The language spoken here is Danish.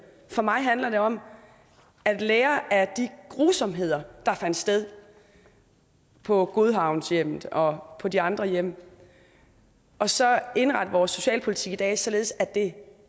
for mig handler det om at lære af de grusomheder der fandt sted på godhavnshjemmet og de andre hjem og så indrette vores socialpolitik i dag således at det